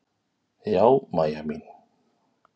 Já, Mæja mín.